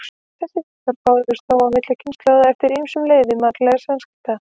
Þessi viðhorf bárust þó milli kynslóðanna eftir ýmsum leiðum mannlegra samskipta.